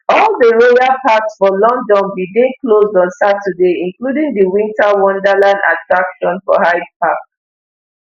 all di royal parks for london bin dey closed on saturday including di winter wonderland attraction for hyde park